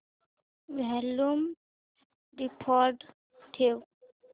volume default ठेव